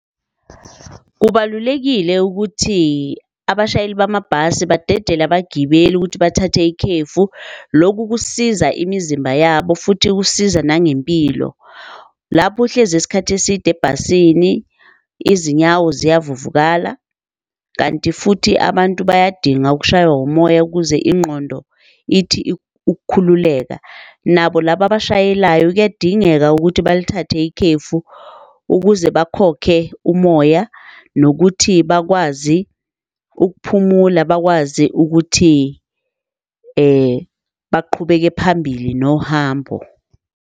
Kubalulekile ukuthi abashayeli bamabhasi badedele abagibeli ukuthi bathathe ikhefu. Loku kusiza imizimba yabo futhi kusiza nangempilo. Lapho uhlezi isikhathi eside ebhasini izinyawo ziyavuvukala, kanti futhi abantu bayadinga ukushaywa umoya ukuze ingqondo ithi ukukhululeka. Nabo laba abashayelayo kuyadingeka ukuthi balithathe ikhefu ukuze bakhokhe umoya nokuthi bakwazi ukuphumula bakwazi ukuthi baqhubeke phambili nohambo.